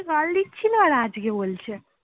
কাল দিচ্ছিলি আর আজকে বলছে